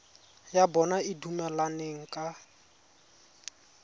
ya bona e dumelaneng ka